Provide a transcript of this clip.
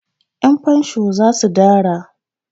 Yanfansho za su dara.